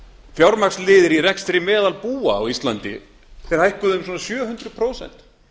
fjármagnsliðir í rekstri meðalbúa á íslandi hækkuðu um svona sjö hundruð prósent